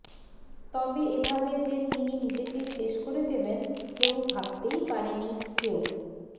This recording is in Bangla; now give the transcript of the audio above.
তবে এভাবে যে তিনি নিজেকে শেষ করে দেবেন কেউ ভাবতেই পারেনি কেউ